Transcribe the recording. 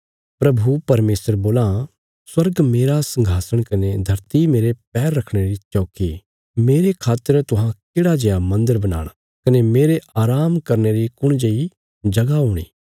प्रभु परमेशर बोलां स्वर्ग मेरा संघासण कने धरती मेरे पैर रखणे री चौकी मेरे खातर तुहां केढ़ा जेआ मन्दर बनाणा कने मेरे आराम करने री कुण जेई जगह हुंगी